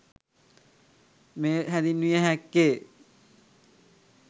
මෙය හැඳින්විය හැක්කේ